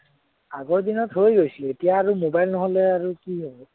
আগৰ দিনত হৈ গৈছিলে, এতিয়া আৰু mobile নহলে আৰু কি হব?